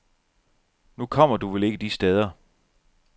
Nu kommer du vel ikke de steder.